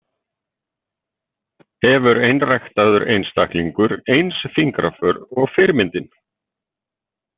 Hefur einræktaður einstaklingur eins fingraför og fyrirmyndin?